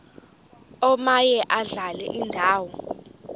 omaye adlale indawo